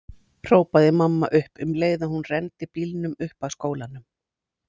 hrópaði mamma upp um leið og hún renndi bílnum upp að skólanum.